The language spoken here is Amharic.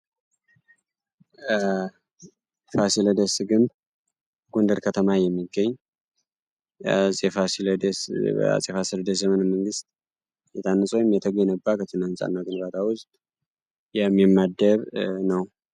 ፋሲለደስ ግንብ ጎንደር ከተማ የሚገኝ በፋሲለደስ ዘመነ መንግሥት የታነጽ ወይም የተገነባ ከትናንፃና ግንባታ ውዝድ የሚመደብ ነው።